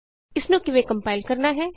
ਇਸਨੂੰ ਕਿਵੇਂ ਕੰਪਾਇਲ ਕਰਨਾ ਹੈ